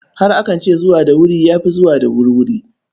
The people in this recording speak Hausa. Har akan ce, zuwa da wuri ya fi zuwa da wurwuri.